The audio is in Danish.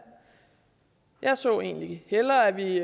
jeg så egentlig hellere at vi